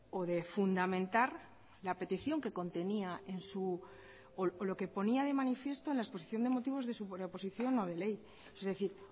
o de fundamentar la petición que ponía de manifiesto en la exposición de motivos de su preposición no de ley es decir